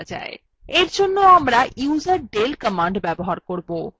for জন্য আমরা userdel command ব্যবহার করবো